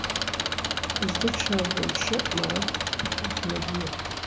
үздік шабуылшы марат ахмедиев